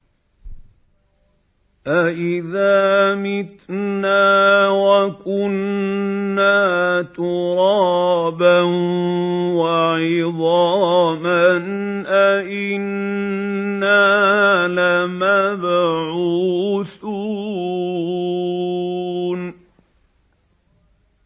أَإِذَا مِتْنَا وَكُنَّا تُرَابًا وَعِظَامًا أَإِنَّا لَمَبْعُوثُونَ